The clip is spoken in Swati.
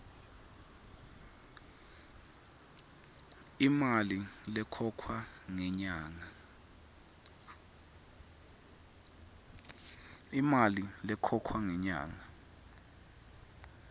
imali lekhokhwa ngenyanga